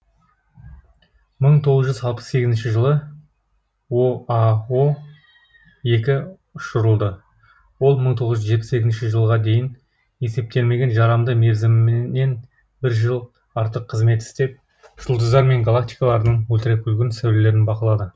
мың тоғыз жүз алпыс сегізінші жылы оао екі ұшырылды ол мың тоғыз жүз жетпіс екінші жылға дейін есептелген жарамды мерзімінен бір жыл артық қызмет істеп жұлдыздар мен галактикалардың ультракүлгін сәулелерін бақылады